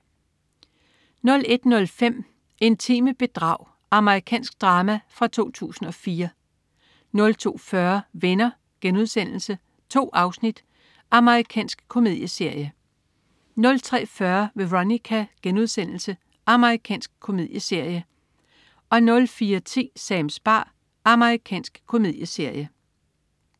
01.05 Intime bedrag. Amerikansk drama fra 2004 02.40 Venner.* 2 afsnit. Amerikansk komedieserie 03.40 Veronica.* Amerikansk komedieserie 04.10 Sams bar. Amerikansk komedieserie